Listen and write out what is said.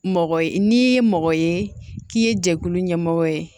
Mɔgɔ ye n'i ye mɔgɔ ye k'i ye jɛkulu ɲɛmɔgɔ ye